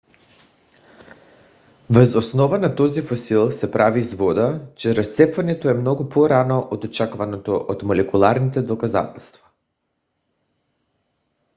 въз основа на този фосил се прави извода че разцепването е много по - рано от очакваното от молекулярните доказателства